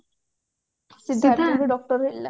ସିଦ୍ଧାର୍ଥ ବି doctor ହେଇଥିଲା